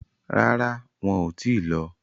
Rárá, wọn ò tíì lọ.